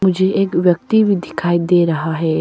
मुझे एक व्यक्ति भी दिखाई दे रहा है।